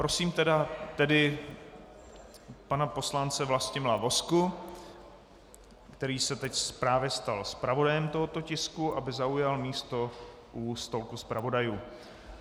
Prosím tedy pana poslance Vlastimila Vozku, který se teď právě stal zpravodajem tohoto tisku, aby zaujal místo u stolku zpravodajů.